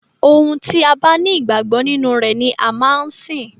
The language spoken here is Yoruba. Ohun tí a bá ní ìgbàgbọ nínú rẹ̀ ni a máa ń sìn.